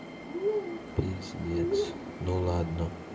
пиздец ну ладно